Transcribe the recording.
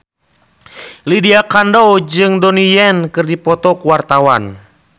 Lydia Kandou jeung Donnie Yan keur dipoto ku wartawan